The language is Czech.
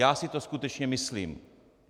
Já si to skutečně myslím.